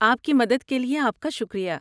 آپ کی مدد کے لیے آپ کا شکریہ۔